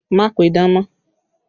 Má pidán mọ́!